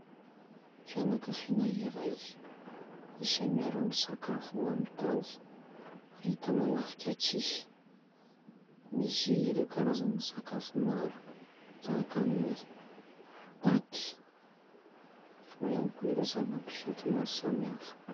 Fianankaviana iray izay miara-misakafo amin'ny tany. Ahitana lafika tsihy misy ireo karazana sakafo maro tahaka: ny paty eo ihany koa ireo zava-pisotro maro samihafa.